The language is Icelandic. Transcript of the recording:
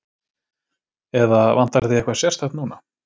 Eða, vantar þig eitthvað sérstakt núna?